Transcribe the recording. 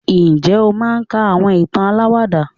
njé o máà ń ka awọn ìtàn àlàwàdà?